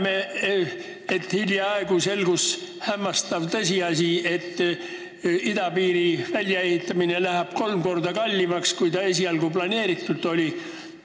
Me teame, et hiljaaegu selgus hämmastav tõsiasi, et idapiiri väljaehitamine läheb kolm korda kallimaks, kui esialgu planeeritud oli.